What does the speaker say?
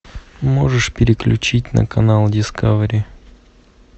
можешь переключить на канал дискавери